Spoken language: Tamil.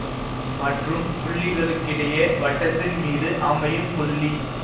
மற்றும் புள்ளிகளுக்கிடையே வட்டத்தின்மீது அமையும் புள்ளி